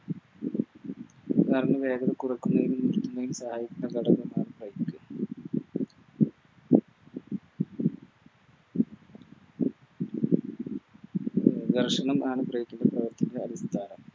Car ന് വേഗത കുറക്കുന്നതിനും കൂട്ടുന്നതിനും സഹായിക്കുന്ന ഘടകമാണ് Break ഘർഷണമാണ് Break ൻറെ പ്രവർത്തനം കാരണം